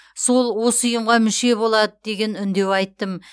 сол осы ұйымға мүше болады деген үндеу айттым